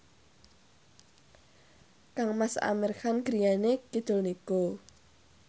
kangmas Amir Khan griyane kidul niku